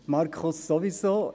Markus Wenger sowieso.